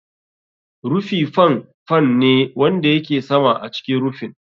Rufi fan fan ne wanda yake sama a cikin rufin.